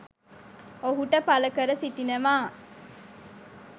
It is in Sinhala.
ඔහුට පළ කර සිටිනවා.